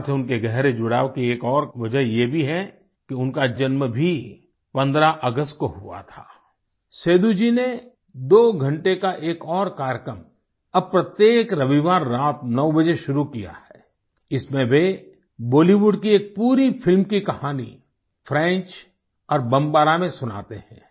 भारत से उनके गहरे जुड़ाव की एक और वजह ये भी है कि उनका जन्म भी 15 अगस्त को हुआ था आई सेदू जी ने दो घंटे का एक और कार्यक्रम अब प्रत्येक रविवार रात 9 बजे शुरू किया है इसमें वे बॉलीवुड की एक पूरी फिल्म की कहानी फ्रेंच और बमबारा में सुनाते हैं